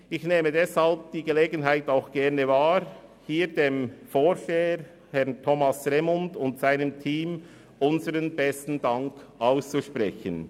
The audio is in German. Ich nehme deshalb die Gelegenheit gerne wahr, um hier dem Vorsteher, Herrn Thomas Remund, und seinem Team unseren besten Dank auszusprechen.